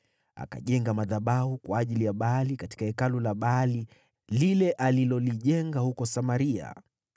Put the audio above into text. Akajenga madhabahu kwa ajili ya Baali katika hekalu la Baali lile alilolijenga huko Samaria.